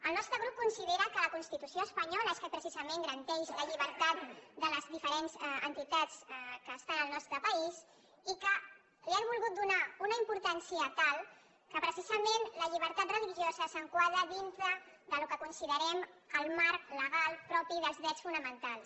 el nostre grup considera que la constitució espanyola que precisament garanteix la llibertat de les diferents entitats que estan al nostre país i que li han volgut donar una importància tal que precisament la llibertat religiosa s’enquadra dins del que considerem el marc legal propi dels drets fonamentals